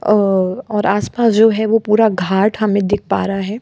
अ और आसपास जो है वो पूरा घाट हमें दिख पा रहा है।